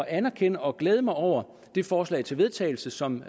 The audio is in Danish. anerkende og glæde mig over det forslag til vedtagelse som